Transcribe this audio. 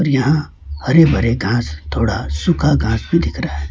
यहां हरे भरे घास थोड़ा सुखा घास भी दिख रहा है।